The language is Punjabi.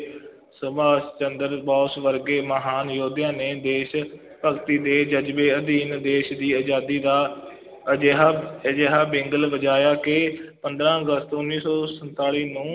ਸੁਬਾਸ਼ ਚੰਦਰ ਬੋਸ ਵਰਗੇ ਮਹਾਨ ਯੋਧਿਆਂ ਨੇ ਦੇਸ਼ ਭਗਤੀ ਦੇ ਜ਼ਜ਼ਬੇ ਅਧੀਨ ਦੇਸ਼ ਦੀ ਆਜ਼ਾਦੀ ਦਾ ਅਜਿਹਾ ਅਜਿਹਾ ਵਿਗਲ ਵਜਾਇਆ ਕਿ ਪੰਦਰਾਂ ਅਗਸਤ ਉੱਨੀ ਸੌ ਸੰਤਾਲੀ ਨੂੰ